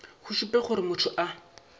go šupe gore motho a